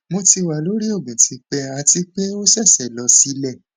mo ti wa lori oogun tipe ati pe o sese lo sile